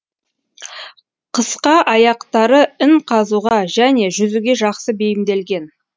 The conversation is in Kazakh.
қысқа аяқтары ін қазуға және жүзуге жақсы бейімделген